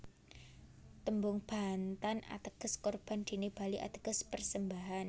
Tembung Bantan ateges Korban dene Bali ateges persembahan